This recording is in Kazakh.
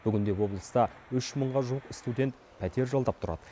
бүгінде облыста үш мыңға жуық студент пәтер жалдап тұрады